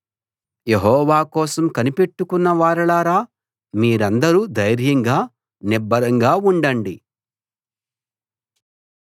యెహోవా కోసం కనిపెట్టుకున్న వారలారా మీరందరూ ధైర్యంగా నిబ్బరంగా ఉండండి